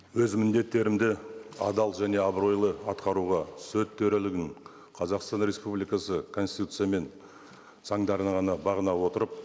өз міндеттерімді адал және абыройлы атқаруға сот төрелігін қазақстан республикасы конституция мен заңдарына ғана бағына отырып